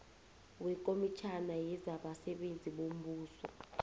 wekomitjhana yezabasebenzi bombuso